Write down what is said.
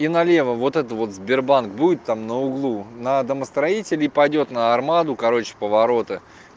и налево вот это вот сбербанк будет там на углу на домостроителей пойдёт на армаду короче повороты